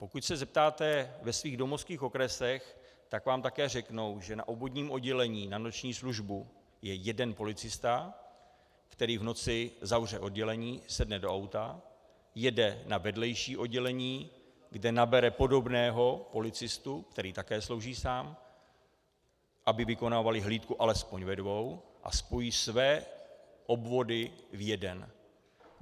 Pokud se zeptáte ve svých domovských okresech, tak vám také řeknou, že na obvodním oddělení na noční službu je jeden policista, který v noci zavře oddělení, sedne do auta, jede na vedlejší oddělení, kde nabere podobného policistu, který také slouží sám, aby vykonávali hlídku alespoň ve dvou, a spojí své obvody v jeden.